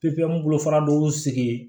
bolo fana n'u sigi ye